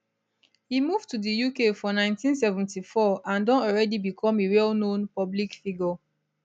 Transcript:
e move to di uk for 1974 and don already become a wellknown public figure